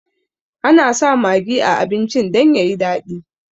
Ana sa magi a abincin dan yayi daɗi